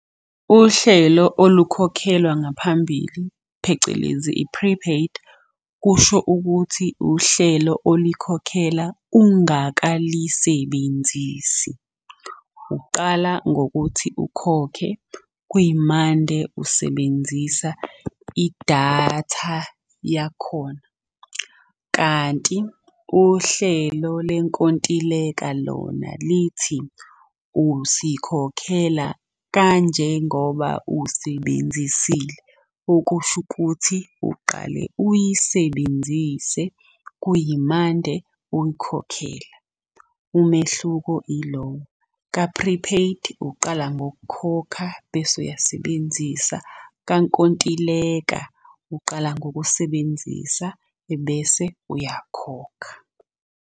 Uhlelo olukhokhelwa ngaphambili phecelezi, i-prepaid, kusho ukuthi uhlelo olikhokhela ungakalisebenzisi. Uqala ngokuthi ukhokhe kwimande usebenzisa idatha yakhona. Kanti uhlelo lenkontileka lona lithi usikhokhela kanjengoba usebenzisile, okusho ukuthi uqale uyisebenzise, kuyimande uyikhokhela. Umehluko ilo, ka-prepaid uqala ngokukhokha bese uyasebenzisa, kankontileka uqala ngokusebenzisa ebese uyakhokha.